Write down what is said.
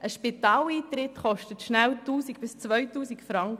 Ein Spitaleintritt kostet schnell 1000 bis 2000 Franken.